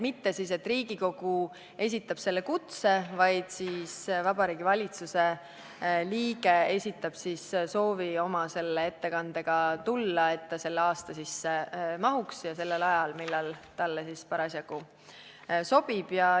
Mitte Riigikogu ei esita kutset, vaid Vabariigi Valitsuse liige esitab oma soovi tulla ettekandega, nii et ta mahuks selle aasta sisse ja saaks tulla sellel ajal, mis talle parasjagu sobib.